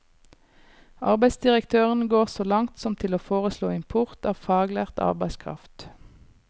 Arbeidsdirektøren går så langt som til å foreslå import av faglært arbeidskraft.